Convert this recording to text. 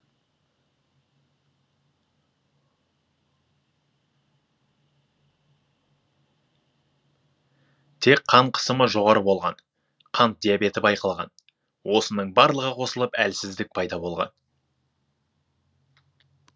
тек қан қысымы жоғары болған қант диабеті байқалған осының барлығы қосылып әлсіздік пайда болған